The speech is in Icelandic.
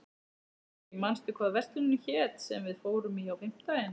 Rúrí, manstu hvað verslunin hét sem við fórum í á fimmtudaginn?